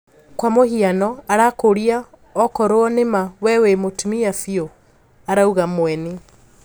"Kwa mũhiano arakuuria okoruo nima we wi mũtumia biũ?",arauga Mueni